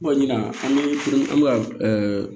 Kɔni an bɛ an bɛ ka